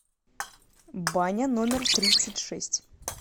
баня номер тридцать шесть